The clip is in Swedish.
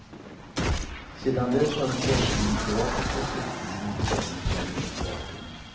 Sedan dess har de bosnienkroatiska flyktingarna befunnit sig i ett vakuum.